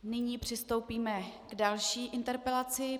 Nyní přistoupíme k další interpelaci.